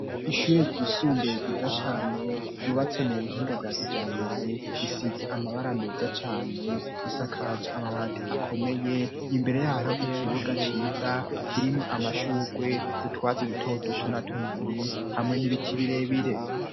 Ishure ryisumbuye ryiza cane ryubatse mu buhinga bwakijambere, risize amabara meza cane, risakajwe amabati akomeye, imbere yayo hari ikibuga ciza kirimwo amashurwe n'utwatsi dutoduto na tunini hanwe n'ibiti birebire.